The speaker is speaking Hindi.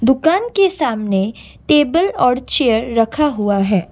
दुकान के सामने टेबल और चेयर रखा हुआ है।